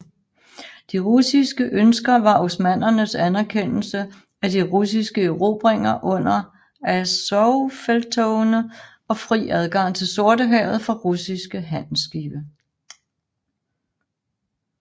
De russiske ønsker var osmannernes anerkendelse af de russiske erobringer under Azovfelttogene og fri adgang til Sortehavet for russiske handelsskibe